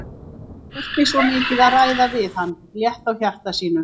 Hann þurfti svo mikið að ræða við hann, létta á hjarta sínu.